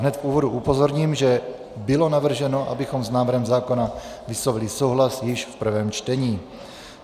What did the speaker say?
Hned v úvodu upozorním, že bylo navrženo, abychom s návrhem zákona vyslovili souhlas již v prvém čtení.